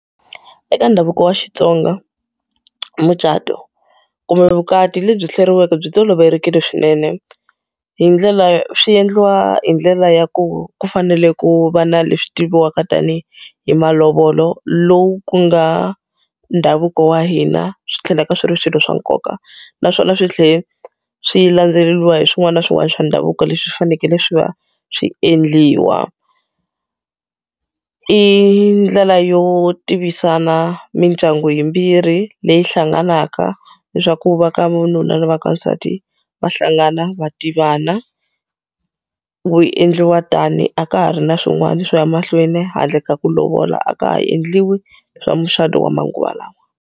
Eka ndhavuko wa Xitsonga, mucato kumbe vukati lebyi hleriweke byi tolovelekile swinene. Hi ndlela swi endliwa hi ndlela ya ku ku fanele ku va na leswi tiviwaka tanihi hi malovolo, lowu ku nga ndhavuko wa hina swi tlhelaka swi ri swilo swa nkoka. Naswona swi tlhela swi landzeleriwa hi swin'wana na swin'wana swa ndhavuko leswi fanekele swi va swi endliwa. I ndlela yo tivisana mindyangu yimbirhi leyi hlanganaka, leswaku va ka va nuna na va ka nsati va hlangana va tivana. Ku endliwa tani, a ka ha ri na swin'wana swo ya mahlweni handle ka ku lovola a ka ha endliwi swa mucato wa manguva lawa.